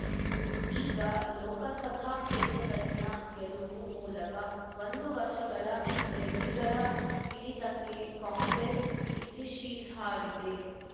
ಈಗ ಲೋಕಸಭಾ ಕ್ಷೇತ್ರದಲ್ಲಿನ ಗೆಲುವು ಮೂಲಕ ಒಂದು ವರ್ಷಗಳ ರೆಡ್ಡಿಗಳ ಹಿಡಿತಕ್ಕೆ ಕಾಂಗ್ರೆಸ್‌ ಇತಿಶಿರ್ ಹಾಡಿದೆ